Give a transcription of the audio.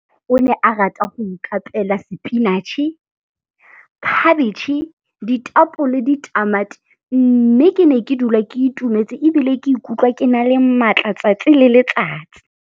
O ne a rata go ikapeela sepinatšhe, khabetšhe, ditapole, ditamati, mme ke ne ke dula ke itumetse ebile ke ikutlwa ke na le maatla 'tsatsi le letsatsi.